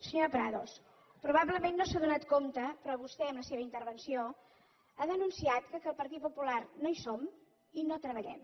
senyora prados probablement no se n’ha adonat però vostè amb la seva intervenció ha denunciat que el partit popular no hi som i no treballem